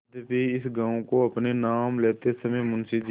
यद्यपि इस गॉँव को अपने नाम लेते समय मुंशी जी